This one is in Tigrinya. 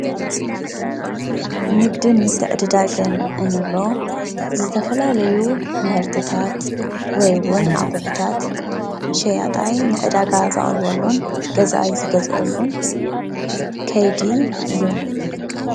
ንግድን ምትዕድዳግን እንብሎ ዝተፈላለዩ ምህርትታት ወይ እውን ኣቑሑታት ሸያጣይ ንዕዳጋ ዘቕርበሉን ገዛኢ ዝገዝኣሉን ከይዲ እዩ።